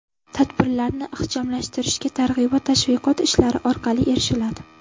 Tadbirlarni ixchamlashtirishga targ‘ibot-tashviqot ishlari orqali erishiladi.